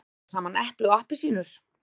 Að bera saman epli og appelsínur